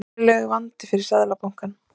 Verulegur vandi fyrir Seðlabankann